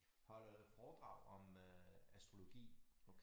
Holder foredrag om astrologi